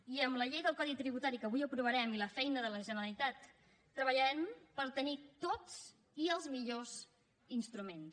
i amb la llei del codi tributari que avui aprovarem i la feina de la generalitat treballarem per tenir tots i els millors instruments